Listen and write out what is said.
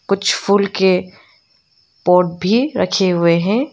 कुछ फूल के पॉट भी रखे हुए हैं।